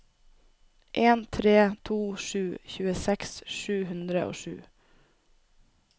en tre to sju tjueseks sju hundre og sju